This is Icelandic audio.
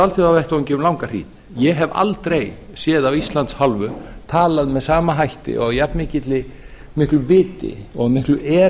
alþjóðavettvangi um langa hríð ég hef aldrei séð af íslands hálfu talað með sama hætti og af jafn miklu viti og miklu